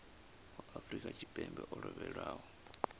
wa afrika tshipembe o lovhelaho